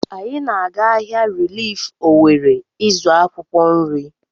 Anyị na-aga ahịa rilif Owere ịzụ akwụkwọ nrị.